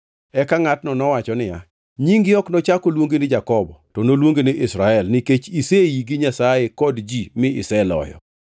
Eka ngʼatno nowacho niya, “Nyingi ok nochak oluongi ni Jakobo, to noluongi ni Israel nikech ise ii gi Nyasaye kod ji mi iseloyo.”